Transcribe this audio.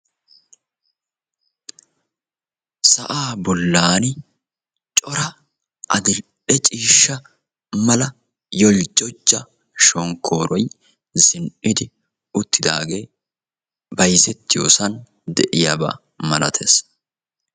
sa"aa bollani corra adi"lee ciisha mala corra holjojida shonkoroy bayzetiyossani de"iyaba milatessi.